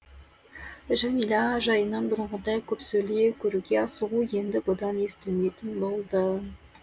жәмила жайынан бұрынғыдай көп сөйлеу көруге асығу енді бұдан естілмейтін болды